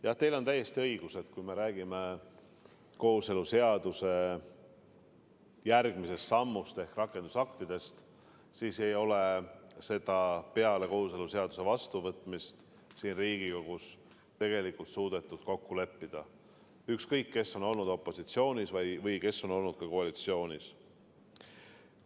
Jah, teil on täiesti õigus: kui me räägime kooseluseaduse järgmisest sammust ehk rakendusaktidest, siis seda ei ole peale kooseluseaduse vastuvõtmist siin Riigikogus suudetud kokku leppida – ükskõik, kes on olnud opositsioonis ja kes on olnud koalitsioonis.